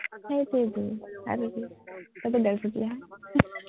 সেইটোৱেতো, আৰু কি তই ডেৰ ফুটিয়াহে